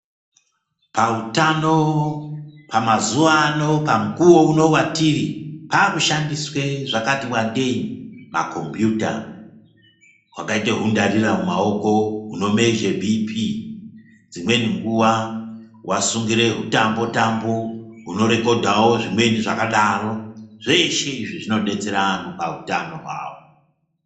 Pautano pamazuwa ano pamukuwo uno watiri pakushandiswe zvakati wandei makombiyuta, hwakaita hundarira mumaoko hunomezhe bhii pii dzimweni nguwa wasungira hutambo-tambo hunorekodhawo zvimweni zvakadaro. Zveshe izvi zvinodetsera anhu pautano hwavo.